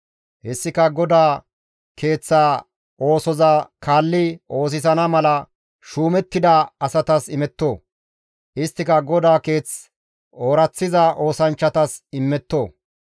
Hessika GODAA Keeththa oosoza kaalli oosisana mala shuumettida asatas immetto; isttika GODAA Keeth ooraththiza oosanchchatas immetto.